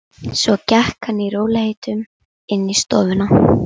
sagði ég og reyndi að jafna mig.